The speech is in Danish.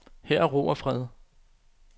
Her er ro og fred.